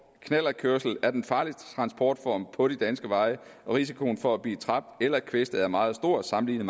knallertkørsel er den farligste transportform på de danske veje og risikoen for at blive dræbt eller kvæstet er meget stor sammenlignet